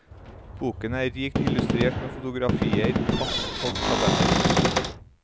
Boken er rikt illustrert med fotografier, kart og tabeller.